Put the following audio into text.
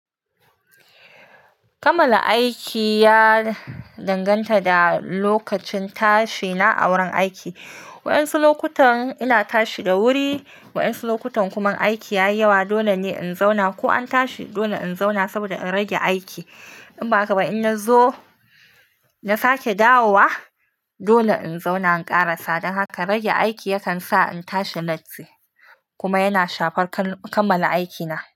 Kamala aiki ya danganta da lokacin tashi na a wurin aiki. Waɗansu lokutan ina tashi da wuri, waɗansu lokutan kuma aiki ya yi yawa, dole ne in zauna ko an tashi, dole in zauna saboda in rage aiki. In ba haka ba in na zo na sake dawowa, dole in zauna in ƙara. Sa'dan haka rage aiki yakan sa in tashi latti kuma yana shafar kamala aikina.